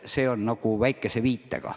See kõik käib väikese viitega.